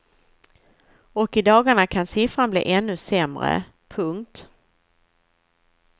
Och i dagarna kan siffran bli ännu sämre. punkt